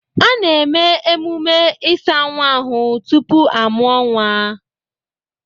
A na-eme ememme ịsa nwa ahụ tupu a mụọ nwa.